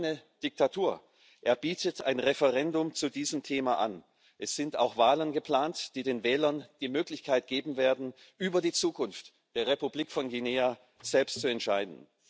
Das ist keine Diktatur, er bietet ein Referendum zu diesem Thema an, es sind auch Wahlen geplant, die den Wählern die Möglichkeit geben werden, über die Zukunft der Republik Guinea selbst zu entscheiden.